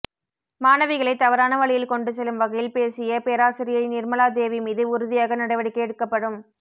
மாணவிகளை தவறான வழியில் கொண்டு செல்லும் வகையில் பேசிய பேராசிரியை நிர்மலா தேவி மீது உறுதியாக நடவடிக்கை எடுக்கப்படும்